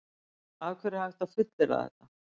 Af hverju er hægt að fullyrða þetta?